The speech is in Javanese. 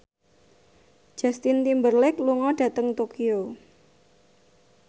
Justin Timberlake lunga dhateng Tokyo